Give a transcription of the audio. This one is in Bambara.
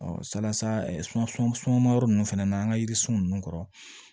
salasa sunmayɔrɔ nunnu fɛnɛ na an ka yiri sun nunnu kɔrɔ